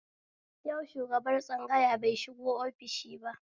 Yau shubagar tsangaya bai shigo ofishi ba